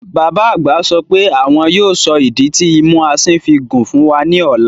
Bàbá àgbà sọ pé àwọn yóò sọ ìdí tí imú asín fi gùn fún wa ní ọ̀la